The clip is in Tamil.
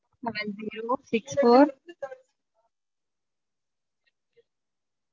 Seven zero six four